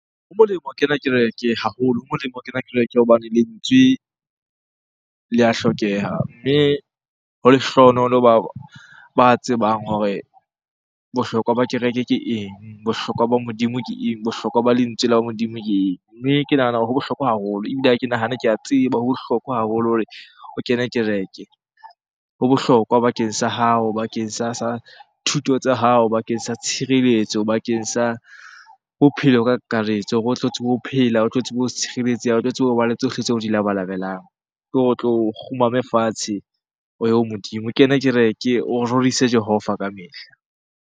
Ho molemo ho kena kereke haholo, ho molemo ho kena kereke hobane lentswe le a hlokeha. Mme ho lehlohonolo ba tsebang hore bohlokwa ba kereke ke eng? Bohlokwa ba Modimo ke eng? Bohlokwa ba lentswe la Modimo ke eng? Mme ke nahana hore ho bohlokwa haholo, ebile ha ke nahane ke a tseba. Ho bohlokwa haholo hore o kene kereke. Ho bohlokwa bakeng sa hao, bakeng sa thuto tsa hao, bakeng sa tshireletso, bakeng sa bophelo ka kakaretso hore o tlo tsebe ho phela, o tlo tsebe ho tshireletseha, otlo tsebe hoba le tsohle tseo o di labalabelang. Ke hore o tlo kgumame fatshe o ye ho Modimo. O kene kereke, o rorise jehova ka mehla.